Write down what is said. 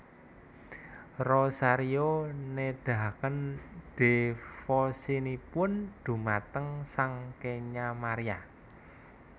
Rosario nedahaken dhévosinipun dhumateng Sang Kenya Maria